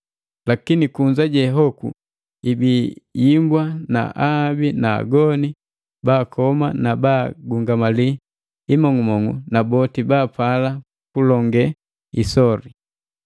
Lakini kunza je hoku ibii yimbwa na ahabi na agoni baakoma na baagungamali imong'umong'u na boti baapala kulonge isoli.